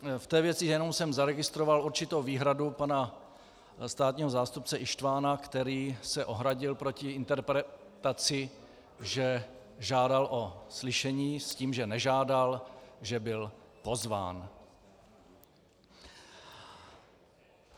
V té věci jsem jenom zaregistroval určitou výhradu pana státního zástupce Ištvana, který se ohradil proti interpretaci, že žádal o slyšení, s tím, že nežádal, že byl pozván.